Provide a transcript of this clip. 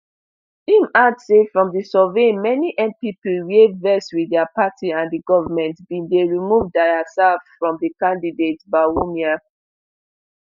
im add say from di survey many npp wia vex wit dia party and di goment bin dey remove diaserf from di candidate bawumia